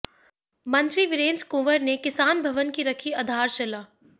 मंत्री वीरेंद्र कंवर ने किसान भवन की रखी आधारशिला